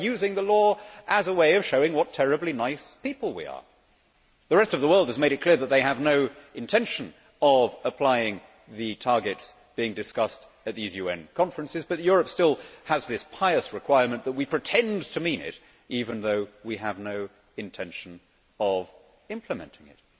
we are using the law as a way of showing what terribly nice people we are. The rest of the world has made it clear that they have no intention of applying the targets being discussed at these UN conferences, but Europe still has this pious requirement that we pretend to mean it, even though we have no intention of implementing it.